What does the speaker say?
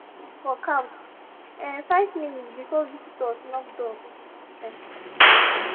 i pour juice for couch um five minutes before visitors knock door um